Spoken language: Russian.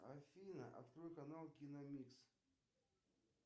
афина открой канал киномикс